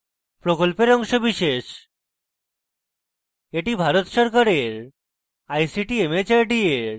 এটি ভারত সরকারের ict mhrd এর জাতীয় শিক্ষা mission দ্বারা সমর্থিত